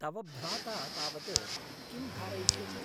तव भ्राता तावत् किं धारयिष्यति?